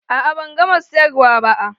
A'a ban gama siyarwa ba.